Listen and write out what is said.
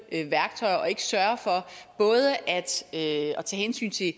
værktøjer og ikke sørger for både at tage hensyn til